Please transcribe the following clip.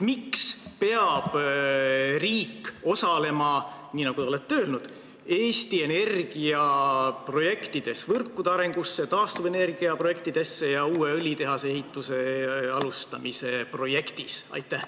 Miks peab riik osalema, nii nagu te olete öelnud, Eesti Energia projektides: võrkude arendamises, taastuvenergia projektides ja uue õlitehase ehituse alustamise projektis?